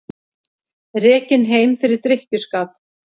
Rekinn heim fyrir drykkjuskap